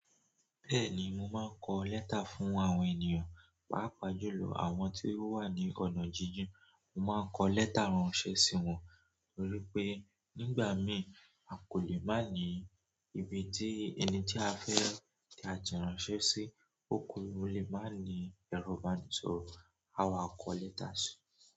Bẹ́ẹ̀ni, mo máa ń kọ lẹ́tà fún àwọn ènìyàn, pàápàá jùlọ àwọn tí wọ́n wà ní ọ̀nà jíjìn. Mo máa ń kọ lẹ́tà ránṣẹ́ sí wọn, torí pé nígbà mí à kò lè máa ní ibi tí ẹni tí a fẹ́ tí a jẹ ránṣẹ́ sí, ó kù, mo lè máa ní ẹro ìbánisọ̀rọ̀. Awa ko lẹ́tà si.